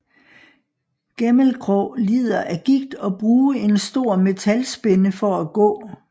Gæmelkrå lider af gigt og bruge en stor metalspænde for at gå